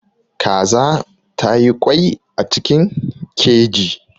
Kaza ta yi ƙwai a cikin keji.